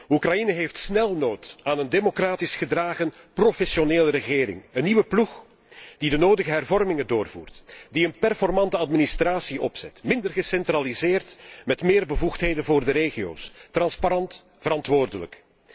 Oekraïne heeft snel nood aan een democratisch gedragen, professionele regering, een nieuwe ploeg die de nodige hervormingen doorvoert, die een performante administratie opzet, minder gecentraliseerd en met meer bevoegdheden voor de regio's, transparant, verantwoordelijk.